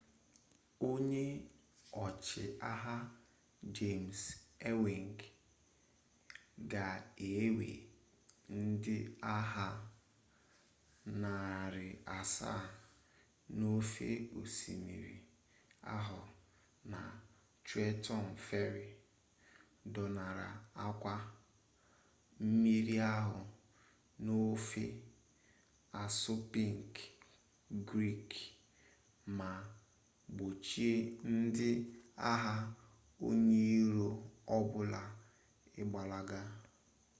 onye ọchịagha james ewing ga-ewe ndị agha narị asaa n'ofe osimiri ahụ na trenton ferry dọnara akwa mmiri ahụ n'ofe assunpink creek ma gbochie ndị agha onye iro ọ bụla ịgbalaga